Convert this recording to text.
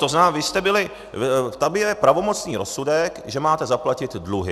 To znamená, vy jste byli - tam je pravomocný rozsudek, že máte zaplatit dluhy.